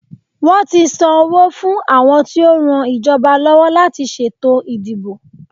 Wọ́n ti san owó fún àwọn tí ó ran ìjọba lọ́wọ́ láti ṣètò ìdìbò.